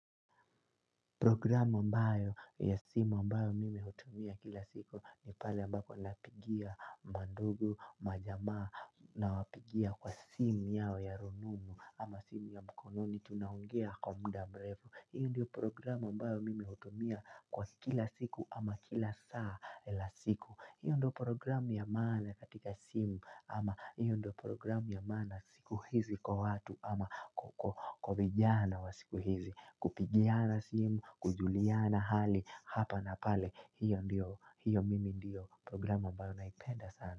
Programu ambayo ya simu ambayo mimi hutumia kila siku ni pale ambako napigia mandugu, majamaa nawapigia kwa simu yao ya rununu ama simu ya mkononi tunaongea kwa muda mrefu. Hiyo ndio programu ambayo mimi hutumia kwa kila siku ama kila saa la siku. Hiyo ndio programu ya maana katika simu ama hiyo ndio programu ya maana siku hizi kwa watu ama kwa vijana wa siku hizi. Kupigiana simu, kujuliana hali, hapa na pale, hiyo mimi ndiyo programu ambayo naipenda sana.